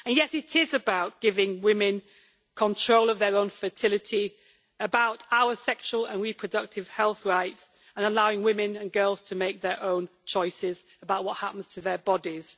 Yes, it is about giving women control of their own fertility, about our sexual and reproductive health rights, and allowing women and girls to make their own choices about what happens to their bodies.